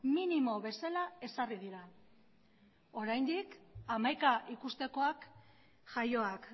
minimo bezala ezarri dira oraindik hamaika ikustekoak jaioak